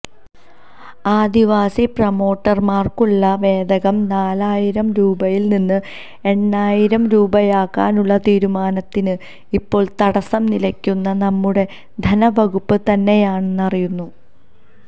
ആദിവാസി പ്രമോട്ടര്മാര്ക്കുള്ള വേതനം നാലായിരം രൂപയില് നിന്ന് എണ്ണായിരം രൂപയാക്കാനുള്ള തീരുമാനത്തിന് ഇപ്പോള് തടസ്സംനില്ക്കുന്നത് നമ്മുടെ ധനവകുപ്പ് തന്നെയാണന്നറിയുന്നു